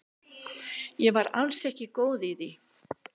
Ég var alls ekki góð í því.